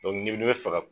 ni bɛ fɛ ka